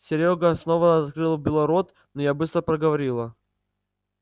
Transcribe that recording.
серёга снова открыл было рот но я быстро проговорила